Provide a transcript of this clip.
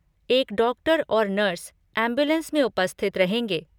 एक डॉक्टर और nurse ambulance में उपस्थित रहेंगे।